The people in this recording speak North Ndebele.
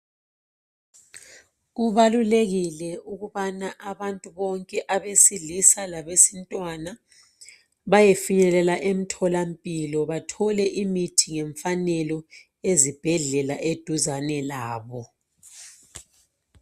Kubalulekile ukubana abantu bonke abesilisa labesintwana bayefinyelela emtholampilo bathole imithi ngemfanelo ezibhedlela eduzane labo.